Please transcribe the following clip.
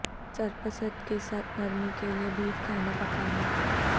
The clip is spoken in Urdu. سرپرست کے ساتھ نرمی کے لئے بیف کھانا پکانا